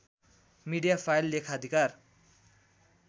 media file लेखाधिकार